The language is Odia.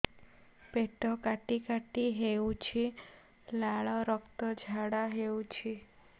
ପେଟ କାଟି କାଟି ହେଉଛି ଲାଳ ରକ୍ତ ଝାଡା ହେଉଛି